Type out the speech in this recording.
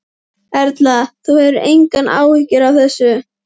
Erla: Þú hefur engar áhyggjur af þessu?